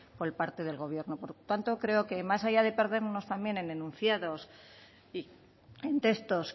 por parte del gobierno por tanto creo que más allá de perdernos también en enunciados y en textos